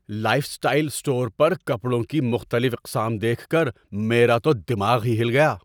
Life style store پر کپڑوں کی مختلف اقسام دیکھ کر میرا تو دماغ ہی ہل گیا!